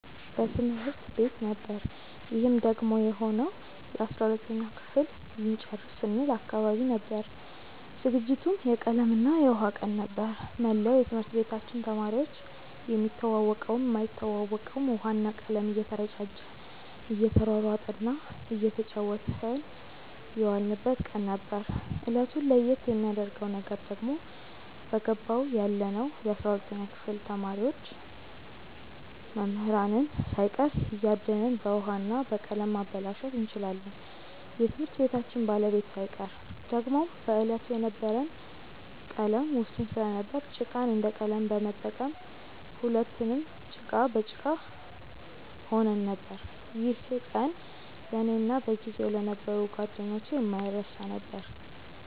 በትምህርት ቤት ነበር ይህም ደግሞ የሆነው የ12ተኛ ክፍል ልንጨርስ ስንል አካባቢ ነበር። ዝግጅቱም የቀለም እና የውሃ ቀን ነበር። መላው የትምህርት ቤታችን ተማሪዎች የሚተዋወቀውም የማይተዋወቀውም ውሃ እና ቀለም እየተረጫጨ እየተሯሯጠ እና እየተጫወትን የዋልንበት ቀን ነበር። እለቱን ለየት የሚያረገው ነገር ደግሞ በገባው ያለነው የ12ተኛ ክፍል ተማሪዎች መምህራንን ሳይቀር እያደንን በውሀ እና በቀለም ማበላሸት እንችላለን የትምህርት ቤታችንን ባለቤት ሳይቀር። ደግሞም በዕለቱ የነበረን ቀለም ውስን ስለነበር ጭቃን እንደ ቀለም በመጠቀም ሁለትንም ጭቃ በጭቃ ሆነን ነበር። ይህ ቀን ለእኔ እና በጊዜው ለነበሩ ጓደኞቼ የማይረሳ ነበር።